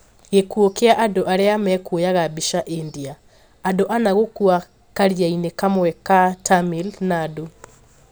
Gĩkuũ kĩa andũ arĩa mekuoyaga mbica India: Andũ ana gũkua karia-inĩ kamwe ka Tamil Nadu